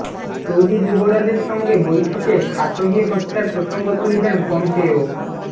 Saudi যুবরাজের সঙ্গে বৈঠকে খাশোগি হত্যার প্রসঙ্গ তুলবেন পম্পেও